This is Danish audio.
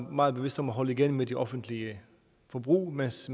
er meget bevidst om at holde igen med det offentlige forbrug mens